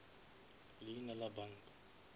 leina la banka